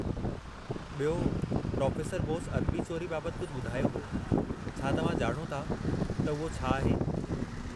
बि॒यो, प्रोफे़सर बोस अदबी चोरी बाबतु कुझु बु॒धायो हो; छा तव्हां ॼाणो था त उहो छा आहे?